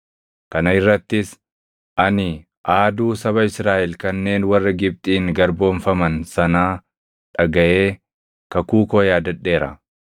Kana irrattis, ani aaduu saba Israaʼel kanneen warra Gibxiin garboomfaman sanaa dhagaʼee kakuu koo yaadadheera.